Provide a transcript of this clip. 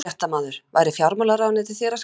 Fréttamaður: Væri fjármálaráðuneytið þér að skapi?